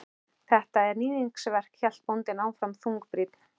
Þetta er. níðingsverk, hélt bóndinn áfram þungbrýnn.